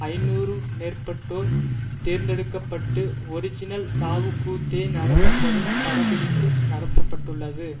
ஐநூறு மேற்பட்டோர் தேர்ந்தெடுக்க பட்டு ஒரிஜினல் சாவுக் கூத்தே நடத்த பட்டு படப்பிடிப்பு நடத்தப்பட்டுள்ளது